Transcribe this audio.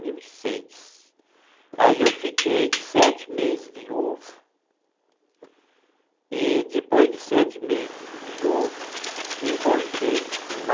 mil e Aí eu fiquei sete meses viúvo e depois de sete meses viúvo, encontrei uma